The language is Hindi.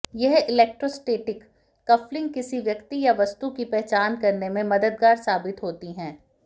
यह इलेक्ट्रोस्टैटिक कफलिंग किसी व्यक्ति या वस्तु की पहचान करने में मददगार साबित होती है